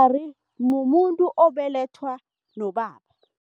mumuntu obelethwa nobaba.